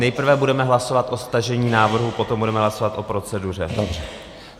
Nejprve budeme hlasovat o stažení návrhu, potom budeme hlasovat o proceduře.